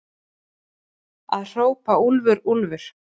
Að hrópa úlfur, úlfur